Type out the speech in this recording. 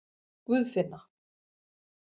Guðfinna